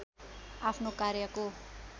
आफ्नो कार्यको